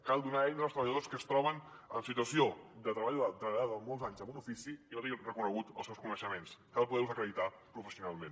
cal donar eines als treballadors que es troben en situació d’haver treballat durant molts anys en un ofici i no tinguin reconeguts els seus coneixements cal poder los acreditar professionalment